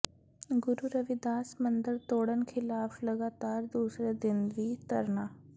ਗੁਰੂ ਰਵਿਦਾਸ ਮੰਦਰ ਤੋੜਨ ਖ਼ਿਲਾਫ਼ ਲਗਾਤਾਰ ਦੂਸਰੇ ਦਿਨ ਵੀ ਧਰਨਾ